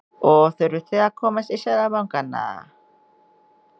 Og þurfið þið að komast í Seðlabankann eða?